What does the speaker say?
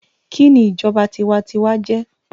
kìíní ìjọba tiwantiwa jé?